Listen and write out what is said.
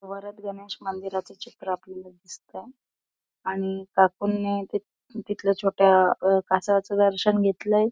वरद गणेश मंदिराचं चित्र आपल्याला दिसतय. आणि काकूंनि तिथ तिथल्या छोट्या अ कासवाचं दर्शन घेतलंय.